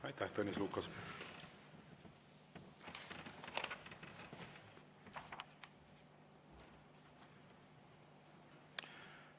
Aitäh, Tõnis Lukas!